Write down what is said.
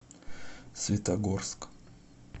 светогорск